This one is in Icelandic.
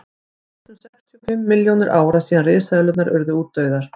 það eru víst um sextíu og fimm milljónir ára síðan risaeðlurnar urðu útdauðar